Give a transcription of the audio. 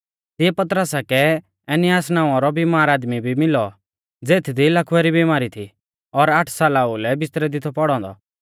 तिऐ पतरसा कै एनियास नावां रौ बिमार आदमी भी मिलौ ज़ेथदी लकवै री बिमारी थी और आठ साला ओउलै बिस्तरै दी थौ पौड़ौ औन्दौ